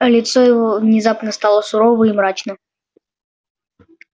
а лицо его внезапно стало суровым и мрачным